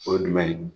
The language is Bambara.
O ye jumɛn ye